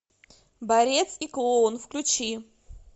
борец и клоун включи